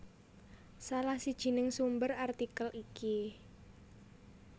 Salah sijining sumber artikel iki